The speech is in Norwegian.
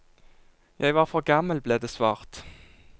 Jeg var for gammel, ble det svart.